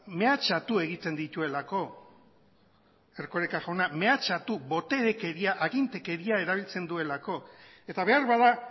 mehatxatu egiten dituelako erkoreka jauna mehatxatu boterekeria agintekeria erabiltzen duelako eta beharbada